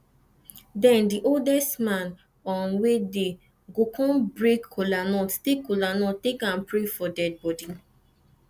den di oldest man um wey dey go kon break kolanut take kolanut take am pray for dead bodi